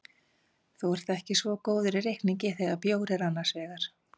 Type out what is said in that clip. Þú ert ekki svo góður í reikningi þegar bjór er annars vegar.